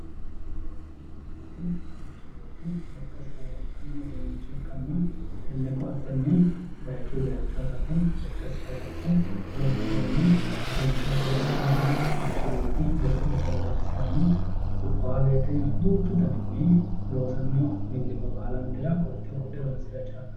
ko"attete yinanniti manchi beetti lekkkasira wodhanno uduunnicho ikkanna tenne ko"attenni bayiichuyi bayiicho harate lekkasira wodhe horonsiranno harinshote horonsiranno manchi beetti godo'leteno horonsiranno kubbawo woyiite duuchu daninni loosanno millimmo baalantera ko"atte wodhe horonsira chaalanno